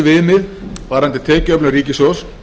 þátta helsta viðmið varðandi tekjuöflun ríkissjóðs